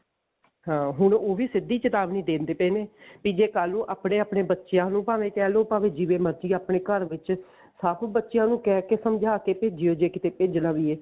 ਹਾਂ ਹੁਣ ਉਹ ਵੀ ਸਿੱਧੀ ਚੇਤਾਵਨੀ ਦਿੰਦੇ ਪਏ ਨੇ ਵੀ ਜੇ ਕੱਲ ਨੂੰ ਆਪਣੇ ਆਪਣੇ ਬੱਚਿਆਂ ਨੂੰ ਭਾਵੇਂ ਕਿਹ ਲਓ ਭਾਵੇਂ ਜਿਵੇਂ ਮਰਜੀ ਆਪਣੇ ਘਰ ਵਿੱਚ ਸਭ ਬੱਚਿਆਂ ਨੂੰ ਕਿਹ ਕਿ ਸਮਝਾ ਕਿ ਭੇਜਿਓ ਜੇ ਕਿਤੇ ਭੇਜਣਾ ਵੀ ਹੈ